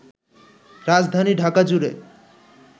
রাজধানী ঢাকাজুড়ে